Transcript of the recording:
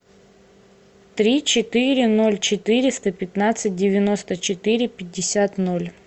три четыре ноль четыреста пятнадцать девяносто четыре пятьдесят ноль